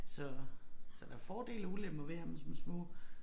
Så så der fordele og ulemper ved at have dem som små